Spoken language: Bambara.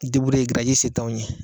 I ye se t'anw ye